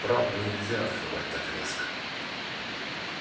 правду нельзя открывать так резко